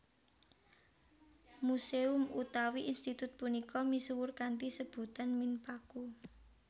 Museum utawi institut punika misuwur kanthi sebutan Minpaku